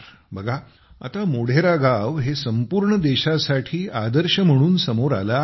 बघा आता मोढेरा गाव हे संपूर्ण देशासाठी आदर्श म्हणून समोर आले आहे